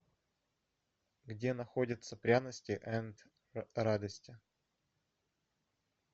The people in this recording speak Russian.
где находится пряности энд радости